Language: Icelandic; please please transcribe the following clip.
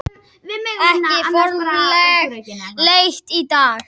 Ekki formleg leit í dag